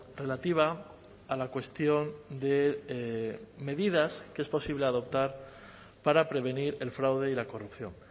relativa a la cuestión de medidas que es posible adoptar para prevenir el fraude y la corrupción